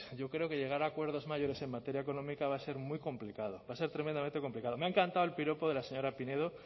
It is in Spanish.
yo creo que llegar a acuerdos mayores en materia económica va a ser muy complicado va a ser tremendamente complicado me ha encantado el piropo de la señora pinedo